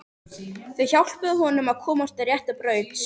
Þau hjálpuðu honum að komast á rétta braut.